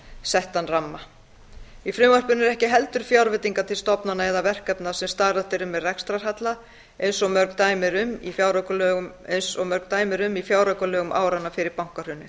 settan ramma í frumvarpinu eru ekki heldur fjárveitingar til stofnana eða verkefna sem starfrækt eru með rekstrarhalla eins og mörg dæmi eru um í fjáraukalögum áranna fyrir bankahrunið